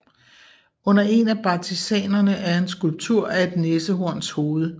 Under en af bartizanerne er en skulptur af et næsenhorns hoved